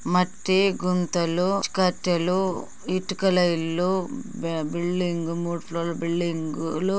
మట్టి గుంతలు కట్టెలు ఇటుకల ఇల్లు బిల్డింగ్ మూడుఫ్లోర్ల బిల్డింగ్